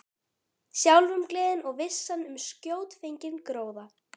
Sjálfumgleðin og vissan um skjótfenginn gróða.